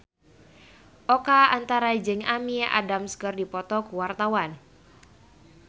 Oka Antara jeung Amy Adams keur dipoto ku wartawan